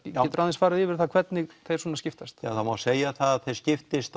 geturu aðeins farið yfir það hvernig þeir skiptast ja það má segja það að þeir skiptist á